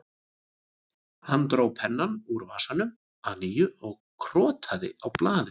Hann dró pennann úr vasanum að nýju og krotaði á blaðið